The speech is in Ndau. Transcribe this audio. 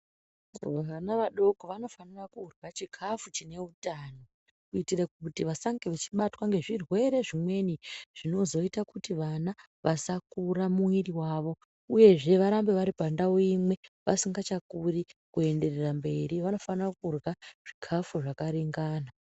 Vana vadoko vanofanire kurya chikafu chine hutano. Kuitire kuti vasange vachibatwa ngezvirwere zvimweni zvinozoita kuti vana vasakura muviri vavo, uyezve varambe vari pandau imwe vasingachakuri kuenderera mberi vanofana kurya zvikafu zvakaringana